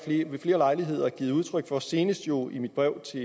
ved flere lejligheder givet udtryk for og senest jo i mit brev til